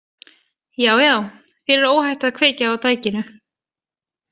Já, já, þér er óhætt að kveikja á tækinu.